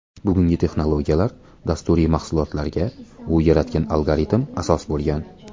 Bugungi texnologiyalar, dasturiy mahsulotlarga u yaratgan algoritm asos bo‘lgan.